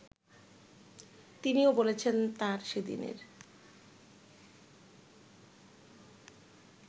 তিনিও বলেছেন তাঁর সেদিনের